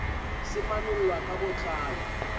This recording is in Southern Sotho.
se manollwa ka bo tlalo